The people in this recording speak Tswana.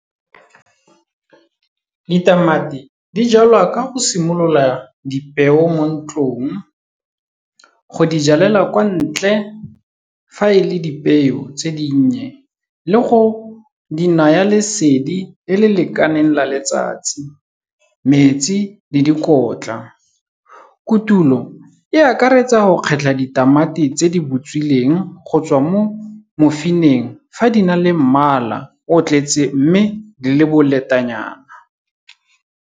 Ditamati di jalwa ka go simolola dipeo mo ntlong, go di jalela kwa ntle, fa e le dipeo tse dinnye le go di naya lesedi le le lekaneng la letsatsi, metsi le dikotla. Kotulo e akaretsa go kgetlha ditamati tse di butswitseng go tswa mo mofeineng fa di na le mmala, o tletse mme di le boletanyana.